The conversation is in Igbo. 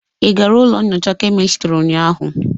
Ị gara ụlọ nnyocha kemistrị ụnyaahụ?